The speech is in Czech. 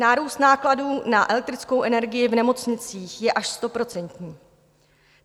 Nárůst nákladů na elektrickou energii v nemocnicích je až stoprocentní.